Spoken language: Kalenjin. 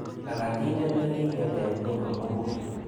Labatindet nekinget eng ng'weny komugul.